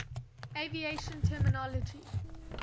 aviation terminology